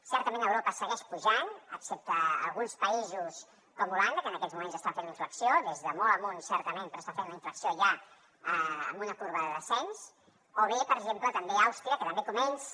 certament a europa segueix pujant excepte a alguns països com holanda que en aquests moments està fent la inflexió des de molt amunt certament però està fent la inflexió ja amb una corba de descens o bé per exemple àustria que també comença